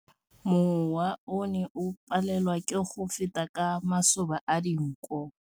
Mowa o ne o palelwa ke go feta ka masoba a dinko.